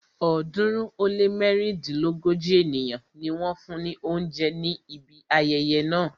ọ̀ọ́dúnrún ó lé mẹ́rìndínlógójì ènìyàn ni wọ́n fún ni oúnjẹ ní ibi ayẹyẹ náà.